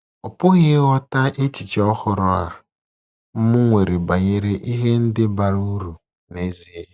Ọ pụghị ịghọta echiche ọhụrụ a m nwere banyere ihe ndị bara uru n’ezie.